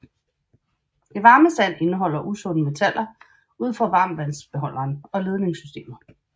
Det varme vand indeholder usunde metaller ud fra varmtvandsbeholderen og ledningsystemet